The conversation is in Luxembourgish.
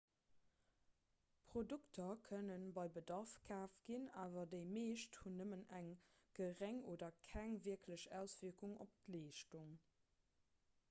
produkter kënne bei bedarf kaaft ginn awer déi meescht hunn nëmmen eng geréng oder keng wierklech auswierkung op d'leeschtung